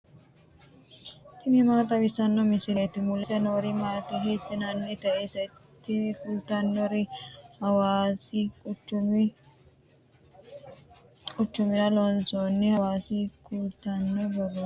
tini maa xawissanno misileeti ? mulese noori maati ? hiissinannite ise ? tini kultannori hawaasi quchumira loonsoonni hawaasa kultanno borrooti.